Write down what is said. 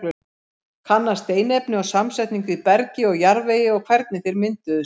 Kanna steinefni og samsetningu í bergi og jarðvegi og hvernig þeir mynduðust.